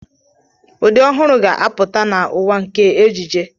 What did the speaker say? Ụdị ọhụrụ ga-apụta na ụwa nke ejiji.